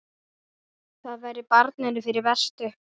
Það væri barninu fyrir bestu.